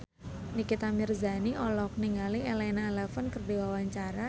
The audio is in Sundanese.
Nikita Mirzani olohok ningali Elena Levon keur diwawancara